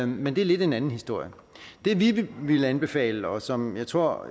men det er lidt en anden historie det vi ville anbefale og som jeg tror